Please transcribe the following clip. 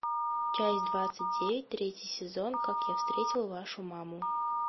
часть двадцать девять третий сезон как я встретил вашу маму